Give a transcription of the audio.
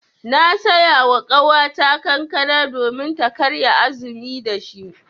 Na saya wa ƙawata kankana domin ta karya azumi da shi.